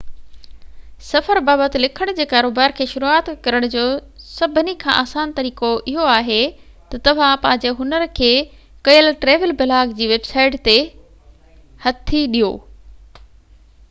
سفر بابت لکڻ جي ڪاروبار کي شروعات ڪرڻ جو سڀني کان آسان طريقو اهو آهي تہ توهان پنهنجي هنر کي ڪنهن ٽريول بلاگ جي ويب سائيٽ تي هٿي ڏيو